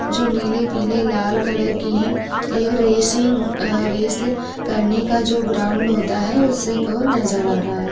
जो नीले पीले लाल कलर की है एक रेसिग अ रेस करने का जो ग्राउंड होता है उस नज़र आ रहा है।